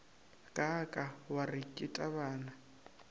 kaaka wa re ke tabana